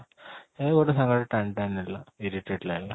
ଏଇ ଗୋଟେ ସାଙ୍ଗ ଟେ ଟାଣି ଟାଣି ନେଲା irritate ଲାଗିଲା